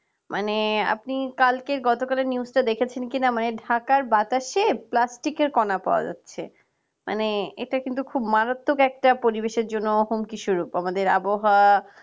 মানে আপনি কালকের গতকালের news তা দেখেছেন কি না মানে Dhaka র বাতাসে plastic এর কনা পাওয়া যাচ্ছে মানে এতে কিন্তু খুব মারাত্মক একটা পারিবেশর জন্য অহংকি শুরু আমাদের আবহাওয়া